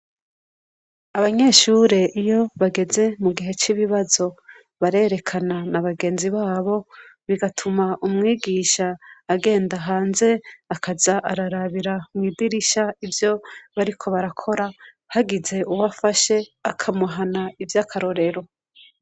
Abanyeshure iyo bageze mu gihe c'ibibazo barerekana na bagenzi babo bigatuma umwigisha agenda hanze akaza ararabira mw'idirishya ivyo bariko barakora hagize uwo afashe akamuhana ivy'akarorero.